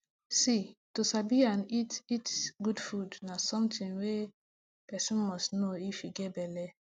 see to sabi n eat eat good food na somethinh wey person must know if you get belle